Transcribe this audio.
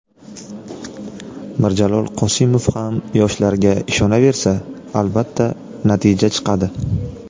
Mirjalol Qosimov ham yoshlarga ishonaversa, albatta, natija chiqadi.